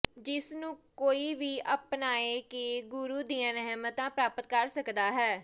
ਜਿਸ ਨੂੰ ਕੋਈ ਵੀ ਅਪਣਾਅ ਕੇ ਗੁਰੂ ਦੀਆਂ ਰਹਿਮਤਾਂ ਪ੍ਰਪਤ ਕਰ ਸਕਦਾ ਹੈ